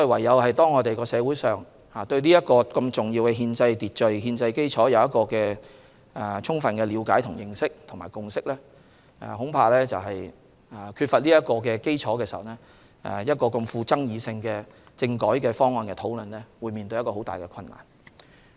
因此，社會上須對此重要的憲制秩序和憲制基礎有充分的了解、認識和共識，如缺乏此基礎，要討論如此具爭議的政改方案恐怕十分困難。